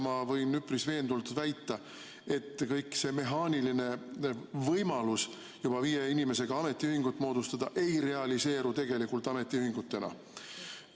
Ma võin üpris veendunult väita, et see mehaaniline võimalus juba viie inimesega ametiühingut moodustada ei realiseeru ametiühingutena.